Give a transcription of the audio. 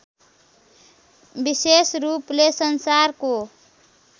विशेष रूपले संसारको